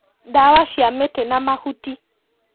Ndawa cia mĩtĩ na mahuti